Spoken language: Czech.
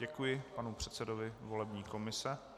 Děkuji panu předsedovi volební komise.